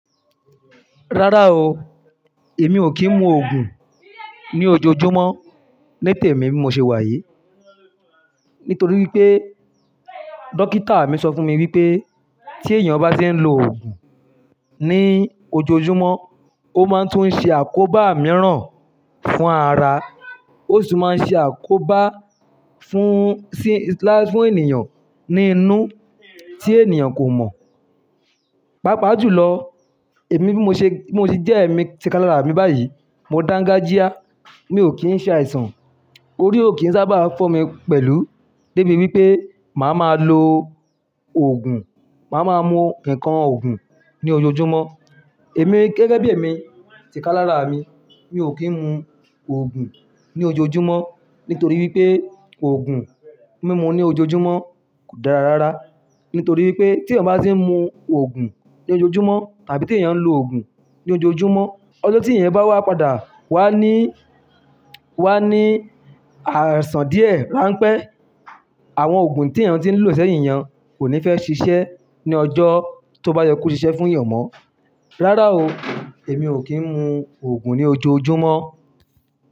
Rárá o, èmi ò kí ń mu ògùn ní ojoojúmọ́ ní tèmi mi ṣe wà yìí. Nítorí wípé dókítà mi sọ fún mi wípé tí èèyàn bá ti ń lo ògùn ní ojoojúmọ́, ó máa tún ṣe àkóbá mìíràn fún ara, ó sì máa ṣe àkóbá fún, sí, láfún èèyàn ní inú tí èèyàn kò mọ̀. Pápa jù lọ, èmi bí mo ṣe, bí mo ti jẹ́ èmi ti ká lára mi báyìí, mo dangajíá, mi ò kí ń ṣe àìsàn. Orí ò kí ń sábà fọ́ mi pẹ̀lú débi wípé màá máa lo ògùn, màá máa mu ǹkan ògùn ní ojoojúmọ́. Èmi gẹ́gẹ́ bí èmi ti ká lára mi, mi ò kí ń mu ògùn ní ojoojúmọ́ nítorí wípé ògùn mímu ní ojoojúmọ́ kò dára rárá. Nítorí wípé tí èèyàn bá ti ń mu ògùn ní ojoojúmọ́ tàbí tí èèyàn ń lo ògùn ní ojoojúmọ́, ọjọ́ tí èèyàn bá wá padà, wá ní, wá ní àìsàn díẹ̀, rán pẹ́. Àwọn ògùn tí èèyàn ti ń lò ṣẹ́yìn èèyàn kò ní fẹ́ ṣiṣẹ́ ní ọjọ́ tó bá yẹ kó ṣiṣẹ́ fún èèyàn mọ́. Rárá o, èmi ò kí ń mu ògùn ní ojoojúmọ́